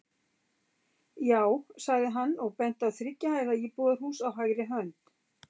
Já, sagði hann og benti á þriggja hæða íbúðarhús á hægri hönd.